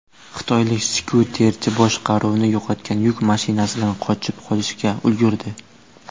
Xitoylik skuterchi boshqaruvni yo‘qotgan yuk mashinasidan qochib qolishga ulgurdi.